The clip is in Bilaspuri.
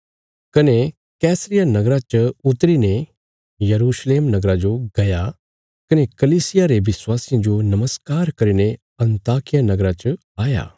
कने कैसरिया नगरा च उतरी ने यरूशलेम नगरा जो गया कने कलीसिया रे विश्वासियां जो नमस्कार करीने अन्ताकिया नगरा च आया